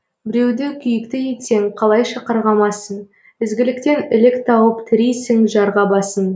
біреуді күйікті етсең қалайша қарғамасын ізгіліктен ілік тауып тірейсің жарға басын